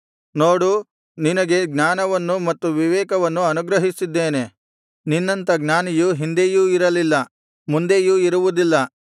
ನೋಡು ನಿನಗೆ ಜ್ಞಾನವನ್ನು ಮತ್ತು ವಿವೇಕವನ್ನು ಅನುಗ್ರಹಿಸಿದ್ದೇನೆ ನಿನ್ನಂಥ ಜ್ಞಾನಿಯು ಹಿಂದೆಯೂ ಇರಲಿಲ್ಲ ಮುಂದೆಯೂ ಇರುವುದಿಲ್ಲ